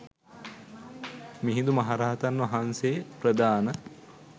මිහිඳු මහරහතන් වහන්සේ ප්‍රධාන